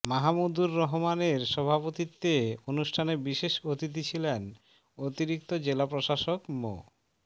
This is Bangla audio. মাহামুদুর রহমানের সভাপত্বিতে অনুষ্ঠানে বিশেষ অতিথি ছিলেন অতিরিক্ত জেলা প্রশাসক মো